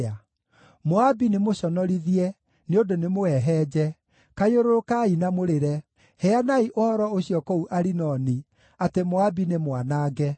Moabi nĩmũconorithie, nĩ ũndũ nĩmũhehenje. Kayũrũrũkai na mũrĩre! Heanai ũhoro ũcio kũu Arinoni, atĩ Moabi nĩ mwanange.